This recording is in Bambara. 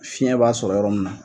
Fiyɛn b'a sɔrɔ yɔrɔ min na.